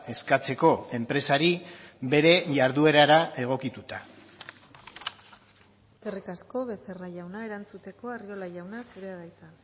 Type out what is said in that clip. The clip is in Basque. eskatzeko enpresari bere jarduerara egokituta eskerrik asko becerra jauna erantzuteko arriola jauna zurea da hitza